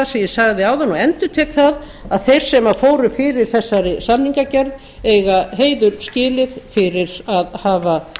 ég sagði áðan og endurtek það að þeir sem fóru fyrir þessari samningagerð eiga heiður skilið fyrir að hafa